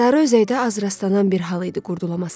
Sarı Özəkdə az rastlanan bir hal idi qurd ulalaması.